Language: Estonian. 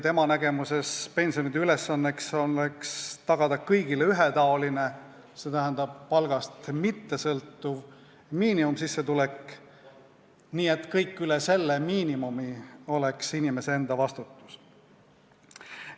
Tema nägemuses oleks pensioni ülesandeks tagada kõigile ühetaoline, s.t palgast mittesõltuv miinimumsissetulek ja kõik, mis läheb üle selle miinimumi, oleks inimese enda vastutuses.